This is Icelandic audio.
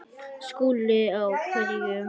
SKÚLI: Á hverju?